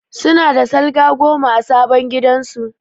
Su na da salga goma a sabon gidan su